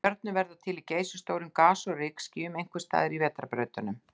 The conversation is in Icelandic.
Stjörnur verða til í geysistórum gas- og rykskýjum, einhvers staðar í vetrarbrautunum.